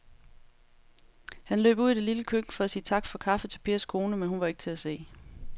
Han løb ud i det lille køkken for at sige tak for kaffe til Pers kone, men hun var ikke til at se.